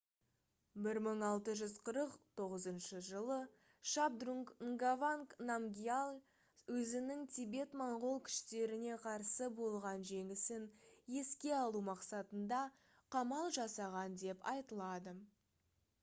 1649 жылы шабдрунг нгаванг намгьял өзінің тибет-моңғол күштеріне қарсы болған жеңісін еске алу мақсатында қамал жасаған деп айтылады